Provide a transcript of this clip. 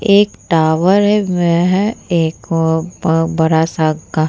एक टावर है वह एक व अ ब बड़ा सा गा --